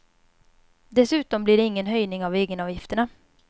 Dessutom blir det ingen höjning av egenavgifterna.